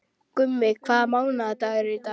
Gummi, hvaða mánaðardagur er í dag?